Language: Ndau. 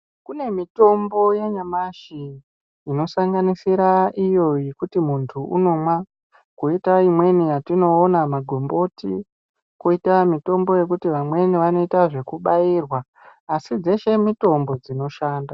Kune mitombo yanyamashi inosanganisira iyo yekuti muntu unomwa koita imweni yatioona magomboti koita mitombo yekuti vamweni vanoita zvekubairwa asi dzeshe mitombo dzinoshanda.